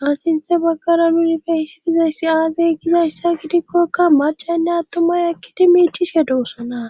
Ha sinthe baggara unifeissidizayssi aazey gizayssa gidikkokka machaynne attumay ekkidi miictishe duossona